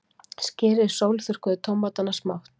Skerið sólþurrkuðu tómatana smátt.